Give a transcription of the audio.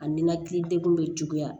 A ninakili degun bɛ juguya